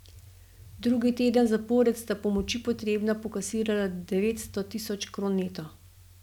Drugi teden zapored sta pomoči potrebna pokasirala devetsto tisoč kron neto.